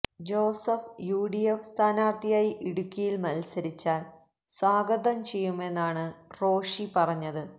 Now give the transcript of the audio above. Joseph UDF സ്ഥാനാര്ഥിയായി ഇടുക്കിയില് മത്സരിച്ചാല് സ്വാഗതം ചെയ്യുമെന്നാണ് റോഷി പറഞ്ഞത്